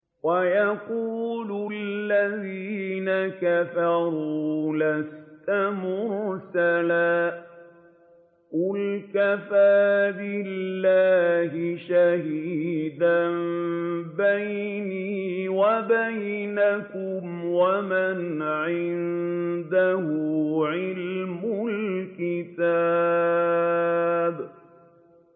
وَيَقُولُ الَّذِينَ كَفَرُوا لَسْتَ مُرْسَلًا ۚ قُلْ كَفَىٰ بِاللَّهِ شَهِيدًا بَيْنِي وَبَيْنَكُمْ وَمَنْ عِندَهُ عِلْمُ الْكِتَابِ